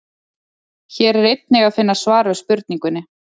Hér er einnig að finna svar við spurningunni: